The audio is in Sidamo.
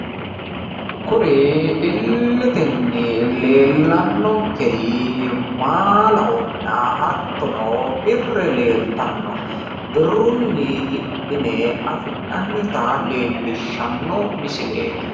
kuri illetenni leellanonkeri maalahonna hattono birre leeltanno. birrunni hidhine afi'nanita leellishshanno misileeti.